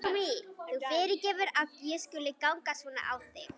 Þú fyrirgefur að ég skuli ganga svona á þig.